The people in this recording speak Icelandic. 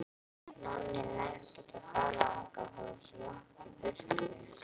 Nonni nennti ekki að fara þangað, það var svo langt í burtu.